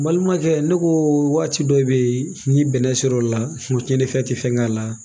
N balimakɛ ne ko waati dɔ bɛ yen ni bɛnɛ sera o la cɛnnifɛn tɛ fɛn k'a la